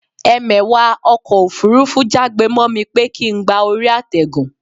Ẹmẹ̀wà ọkọ̀ òfurufú já gbe mọ́ mi pé kín gba orí àtẹ̀gùn